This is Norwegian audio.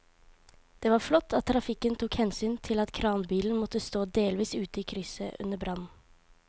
Det var flott at trafikken tok hensyn til at kranbilen måtte stå delvis ute i krysset under brannen.